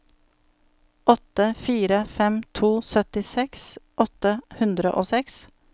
åtte fire fem to syttiseks åtte hundre og seks